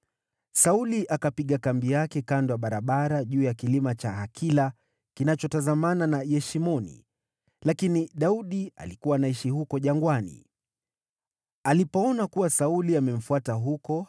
Sauli akapiga kambi yake kando ya barabara juu ya kilima cha Hakila kinachotazamana na Yeshimoni, lakini Daudi alikuwa anaishi huko jangwani. Alipoona kuwa Sauli amemfuata huko,